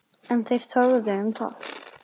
En þeir þögðu um það.